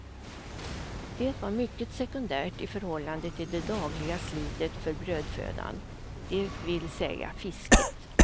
Det var mycket sekundärt i förhållande till det dagliga slitet för brödfödan, det vill säga fisket.